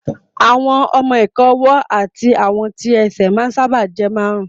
Àwọn ọmọ-ìka ọwọ́ àti àwọn tí ẹsẹ̀ ma ń sáábà jẹ́ márùn